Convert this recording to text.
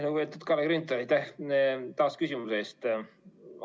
Lugupeetud Kalle Grünthal, aitäh taas küsimuse eest!